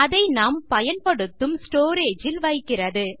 அதை நாம் பயன்படுத்தும் ஸ்டோரேஜ் இல் வைக்கிறது